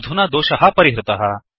अधुना दोषः परिहृतः